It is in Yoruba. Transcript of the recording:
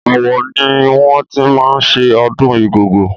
Ọ̀wọ̀ ni wọ́n ti máa ń ṣe ọdún Igogo.